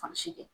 Fan si kɛ